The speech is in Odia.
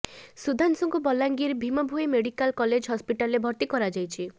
ସୁଧାଂଶୁଙ୍କୁ ବଲାଙ୍ଗୀର ଭୀଭଭୋଇ ମେଡିକାଲ କଲେଜ ହସ୍ପିଟାଲରେ ଭର୍ତ୍ତି କରାଯାଇଛି